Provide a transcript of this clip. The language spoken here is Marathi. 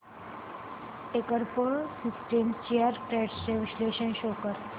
टेकप्रो सिस्टम्स शेअर्स ट्रेंड्स चे विश्लेषण शो कर